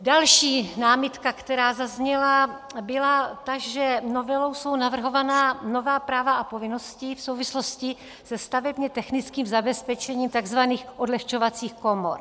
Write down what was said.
Další námitka, která zazněla, byla ta, že novelou jsou navrhována nová práva a povinnosti v souvislosti se stavebně technickým zabezpečením tzv. odlehčovacích komor.